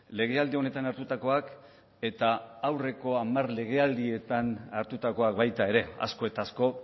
legealdi honetan hartutakoak eta aurreko hamar legealdietan hartutakoak baita ere asko eta asko